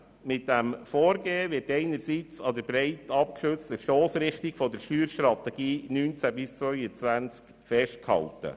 Mit diesem Vorgehen wird an der breit abgestürzten Stossrichtung der Steuerstrategie 2019 bis 2022 festgehalten.